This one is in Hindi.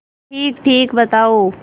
ठीकठीक बताओ